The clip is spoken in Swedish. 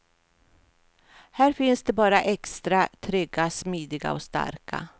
Här finns det bara extra trygga, smidiga och starka.